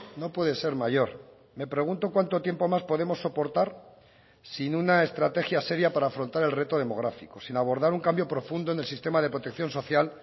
no puede ser mayor me pregunto cuánto tiempo más podemos soportar sin una estrategia seria para afrontar el reto demográfico sin abordar un cambio profundo en el sistema de protección social